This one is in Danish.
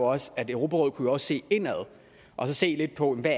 også at europarådet kunne prøve at se indad og se lidt på hvad